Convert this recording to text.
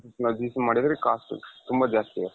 ಇವಾಗ ಮಾಡುದ್ರೆ cost ತುಂಬಾ ಜಾಸ್ತಿ ಆಗುತ್ತೆ.